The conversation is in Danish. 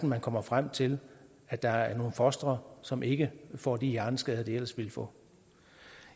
man kommer frem til at der er nogle fostre som ikke får de hjerneskader de ellers ville få